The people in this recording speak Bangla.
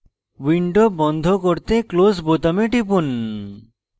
window বন্ধ করতে close বোতামে টিপুন